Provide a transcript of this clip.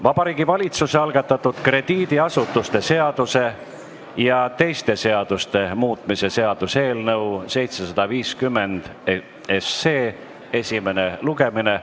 Vabariigi Valitsuse algatatud krediidiasutuste seaduse ja teiste seaduste muutmise seaduse eelnõu 750 esimene lugemine.